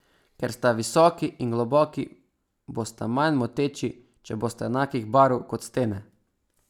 Ker sta visoki in globoki, bosta manj moteči, če bosta enakih barv kot stene.